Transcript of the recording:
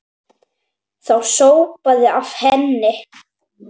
Það sópaði af henni.